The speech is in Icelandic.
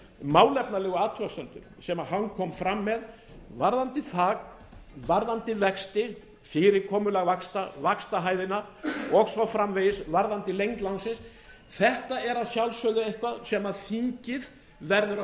málefnalegu athugasemdir sem hann kom fram með varðandi þak varðandi vexti fyrirkomulag vaxtahæðarinnar og svo framvegis varðandi lengd lánsins þetta er að sjálfsögðu eitthvað sem þingið verður